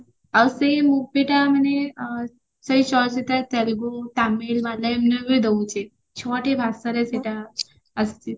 ଆଉ ସେଇ movie ଟା ମାନେ ସେଇ ଚଳଚିତ୍ରର ତେଲଗୁ ତାମିଲ ମାଳୟମର ବି ଏବେ ଦଉଚି ଛତି ଭାଷାରେ ସେଟ ଆସିଚି